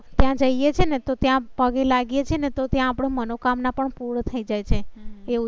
ત્યાં જઈએ છે એને તો ત્યાં પગે લાગ્યે છે તો ત્યાં આપણે મનોકામના પણ પૂર્ણ થઇ જાય છે એવું